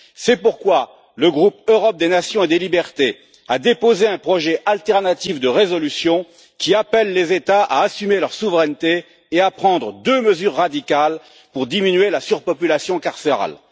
C'est pourquoi le groupe Europe des nations et des libertés a déposé un projet alternatif de résolution qui appelle les États à assumer leur souveraineté et à prendre deux mesures radicales pour diminuer la surpopulation carcérale.